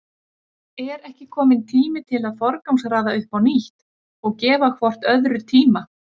Er ekki kominn tími til að forgangsraða upp á nýtt og gefa hvort öðru tíma?